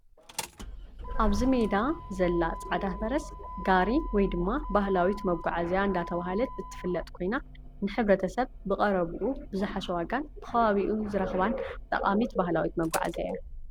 ኣብዚ ሜዳ ዘላ ፃዕዳ ፈረስ ጋሪ ወይ ድማ ባህላዊት መጓዓዝያ እንዳተባህለት እትፍለጥ ኮይና ንሕ/ሰብ ብቀረብኡ ብዝሓሸ ዋጋን ብከባቢኡ ዝረክባን ጠቃሚት ባህላዊት መጓዓዝያ እያ፡፡